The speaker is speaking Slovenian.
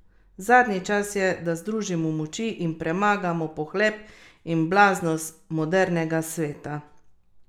Zadnji čas je, da združimo moči in premagamo pohlep in blaznost modernega sveta!